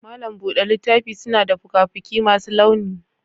malam buɗe littafi suna da fuka-fuki masu launi.